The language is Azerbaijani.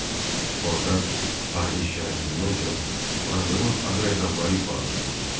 Orda taleh şikayətindən çox varlığın ağır əzabları ifadə olunurdu.